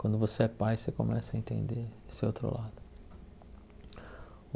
Quando você é pai, você começa a entender esse outro lado.